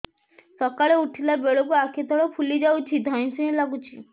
ସକାଳେ ଉଠିଲା ବେଳକୁ ଆଖି ତଳ ଫୁଲି ଯାଉଛି ଧଇଁ ସଇଁ ଲାଗୁଚି